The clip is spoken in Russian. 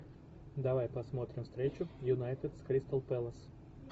давай посмотрим встречу юнайтед с кристал пэлас